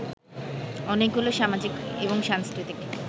অনেকগুলো সামাজিক এবং সাংস্কৃতিক